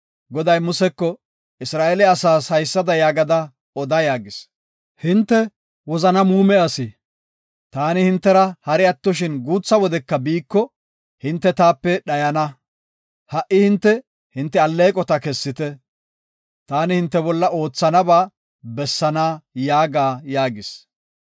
Goday Museko, Isra7eele asaas haysada yaagada oda yaagis; “Hinte wozana muume asi. Taani hintera hari attoshin guutha wodeska biiko, hinte taape dhayana. Ha77i hinte, hinte alleeqota kessite; taani hinte bolla oothanaba bessaana yaaga” yaagis.